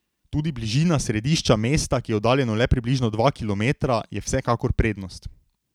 Tudi bližina središča mesta, ki je oddaljeno le približno dva kilometra, je vsekakor prednost.